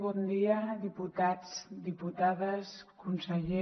bon dia diputats diputades conseller